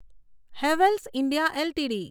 Havells India LTD